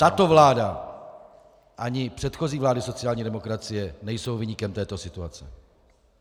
Tato vláda ani předchozí vlády sociální demokracie nejsou viníkem této situace.